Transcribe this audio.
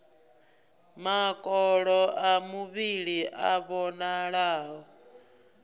makolo a muvhili a vhonalaho